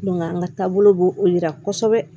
an ka taabolo b'o o yira kɔsɛbɛ